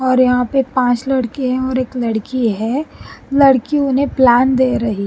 और यहां पर पांच लड़के हैं और एक लड़की है लड़की उन्हें प्लान दे रही--